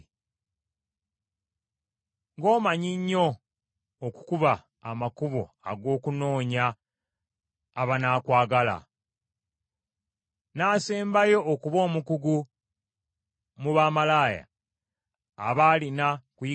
Ng’omanyi nnyo okukuba amakubo ag’okunoonya abanaakwagala! N’asembayo okuba omukugu mu bamalaaya aba alina kuyigira ku ggwe.